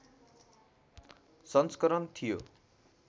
संस्करण थियो